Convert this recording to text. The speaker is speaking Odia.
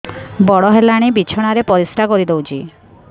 ବଡ଼ ହେଲାଣି ବିଛଣା ରେ ପରିସ୍ରା କରିଦେଉଛି